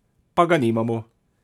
Pa ga nimamo!